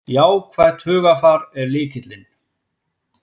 Jákvætt hugarfar er lykillinn